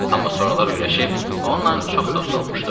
Amma sonralar öyrəşib onunla çox dost olmuşdu.